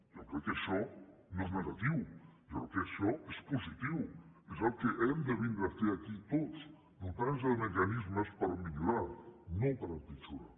jo crec que això no és negatiu jo crec que això és positiu és el que hem de vindre a fer aquí tots dotar nos de mecanismes per millorar no per empitjorar